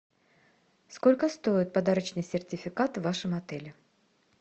сколько стоит подарочный сертификат в вашем отеле